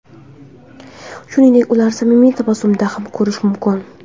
Shuningdek, ularni samimiy tabassumda ham ko‘rish mumkin.